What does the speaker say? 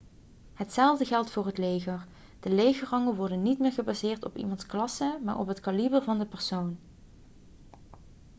hetzelfde geldt voor het leger de legerrangen worden niet meer gebaseerd op iemands klasse maar op het kaliber van de persoon